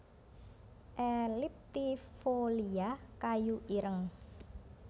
elliptifolia kayu ireng